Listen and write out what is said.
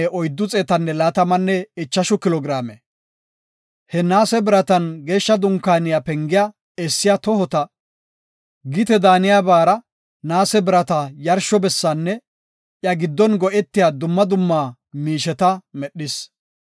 He naase biratan Geeshsha Dunkaaniya pengiya essiya tohota, gite daaniyabara naase birata yarsho bessaanne iya giddon go7etiya dumma dumma miisheta medhis.